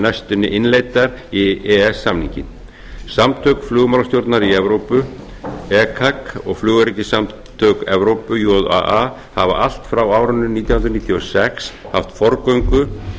næstunni innleiddar í e e s samninginn samtök flugmálastjórna í evrópu ecac og flugöryggissamtök evrópu jaa hafa allt frá árinu nítján hundruð níutíu og sex haft forgöngu